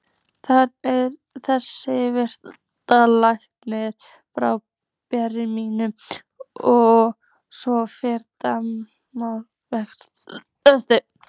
þarna er þessi mikli læknir frá Berlín og svo framvegis.